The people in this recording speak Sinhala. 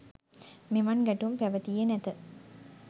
මෙවන් ගැටුම් පැවතියේ නැත.